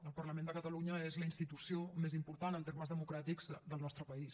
el parlament de catalunya és la institució més important en termes democràtics del nostre país